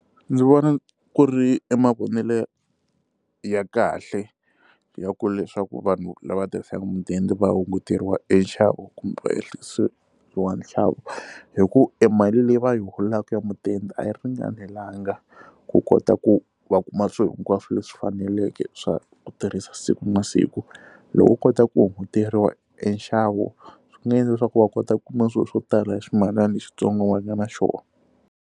Ndzi vona ku ri i mavonelo ya kahle ya ku leswaku vanhu lava tirhisaka mudende va hunguteriwa enxavo kumbe se wa nxavo hi ku e mali leyi va yi holaka mudende a yi ringanelanga ku kota ku va kuma swilo hinkwaswo leswi faneleke swa ku tirhisa siku na siku loko vo kota ku hunguteriwa enxavo swi nga endla leswaku va kota ku kuma swilo swo tala hi swimalana xitsongwana va nga na xona.